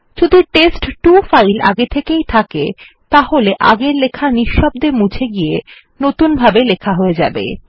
যদি test two file আগে থেকেই থাকে তাহলে আগের লেখা নিঃশব্দে মুছে গিয়ে নতুনভাবে লেখা হয়ে যাবে